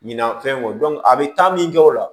Ɲinan fɛn o a bɛ taa min kɛ o la